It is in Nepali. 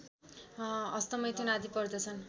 हस्तमैथुन आदि पर्दछन्